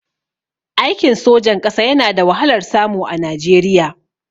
Aikin sojan ƙasa yana da wahalar samu a Najeriya